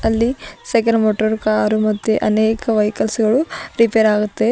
ಅಲ್ಲಿ cycle motor car ಮತ್ತೆ ಅನೇಕ ವೆಹಿಕಲ್ಸ್ ಗಳು ರಿಪೇರ್ ಆಗುತ್ತೆ.